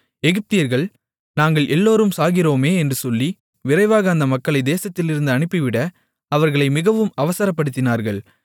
எகிப்தியர்கள் நாங்கள் எல்லோரும் சாகிறோமே என்று சொல்லி விரைவாக அந்த மக்களைத் தேசத்திலிருந்து அனுப்பிவிட அவர்களை மிகவும் அவசரப்படுத்தினார்கள்